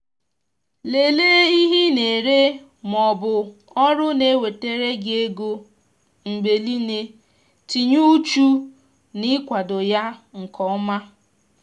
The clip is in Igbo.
lelee ihe ị na-ere ma ọ bụ ọrụ na-ewetara gi ego mgbe niile tinye uchu na-ikwado ya nke ọma